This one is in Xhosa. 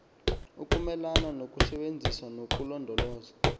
ukumelana nokusebenzisa nokulondoloza